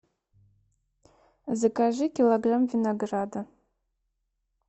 закажи килограмм винограда